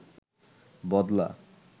বদলা